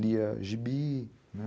Lia gibi, né?